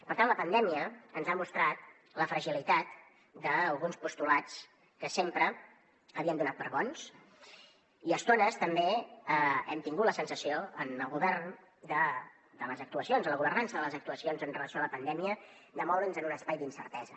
per tant la pandèmia ens ha mostrat la fragilitat d’alguns postulats que sempre havíem donat per bons i a estones també hem tingut la sensació en el govern de les actuacions en la governança de les actuacions en relació amb la pandèmia de moure’ns en un espai d’incertesa